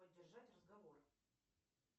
поддержать разговор